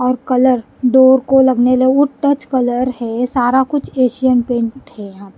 और colour door को लगने ल टच कलर है सारा कुछ एशियन पेंट है।